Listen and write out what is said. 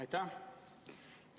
Aitäh!